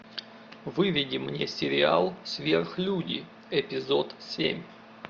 выведи мне сериал сверхлюди эпизод семь